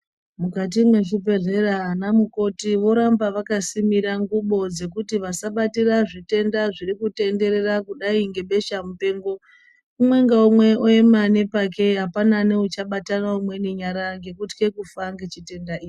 Mukati mezvibhedheya vana mukoti voramba vakasimira ngubo dzekuti vasabatira zvitenda zvirikutenderera kudai nge beshamupengo. Umwe ngaumwe oema nepake apana neuchabatanana nyara ngendaa yekutya kufa ngechitenda ichi.